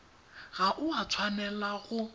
ga o a tshwanela go